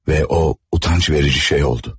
Və o utancverici şey oldu.